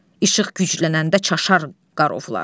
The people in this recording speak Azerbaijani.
İşıq güclənəndə çaşar qarovullar.